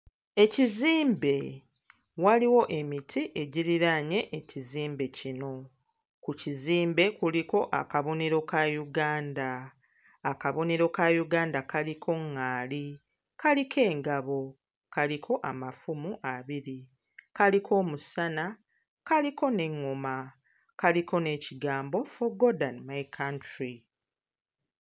Ekizimbe, waliwo emiti egiriraanye ekizimbe kino. Ku kizimbe kuliko akabonero ka Uganda. Akabonero ka Uganda kaliko ŋŋaali, kaliko engabo, kaliko amafumu abiri, kaliko omusana, kaliko n'eŋŋoma, kaliko n'ekigambo 'for God and my country'.